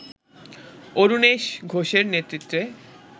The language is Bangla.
অরুণেশ ঘোষের নেতৃত্বে